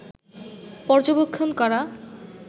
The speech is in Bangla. পর্যবেক্ষণ করা